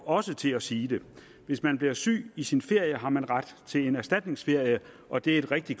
også til at sige det hvis man bliver syg i sin ferie har man ret til en erstatningsferie og det er et rigtig